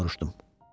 Elə-belə soruşdum.